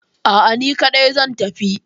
A'a, ni kaɗai zan tafi.